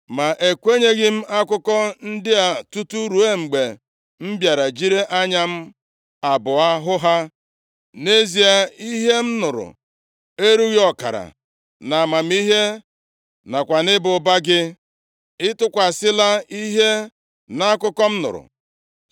Ma ekwenyeghị m akụkọ ndị a tutu ruo mgbe m bịara jiri anya m abụọ hụ ha. Nʼezie, ihe m nụrụ erughị ọkara; nʼamamihe nakwa nʼịba ụba gị, ị tụkwasịla ihe nʼakụkọ m nụrụ.